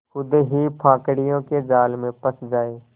खुद ही पाखंडियों के जाल में फँस जाए